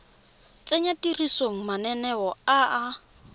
tsenya tirisong mananeo a a